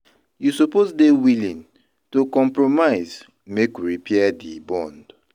You suppose dey willing to compromise make we repair di bond.